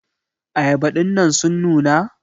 ayaba dinnan sun nuna?